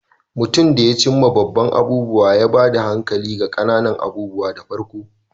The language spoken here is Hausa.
Mutum da ya cim ma babban abubuwa, ya ba da hankali ga ƙananan abubuwa da farko.